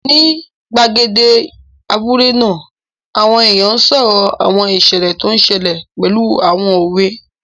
Ní gbàgede abúlé náà, àwọn èèyàn n sọ̀rọ̀ àwọn ìṣẹ̀lẹ̀ tó n ṣẹlẹ̀ pẹ̀lú àwọn òwe